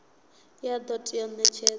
ya do tea u netshedzwa